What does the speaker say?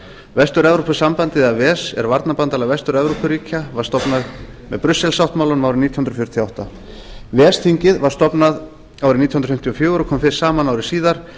vestur evrópusambandið eða ves er varnarbandalag vestur evrópuríkja og var stofnað með brussel sáttmálanum árið nítján hundruð fjörutíu og átta ves þingið var stofnað árið nítján hundruð fimmtíu og fjögur og kom fyrst saman ári síðar